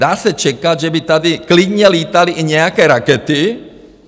Dá se čekat, že by tady klidně lítaly i nějaké rakety...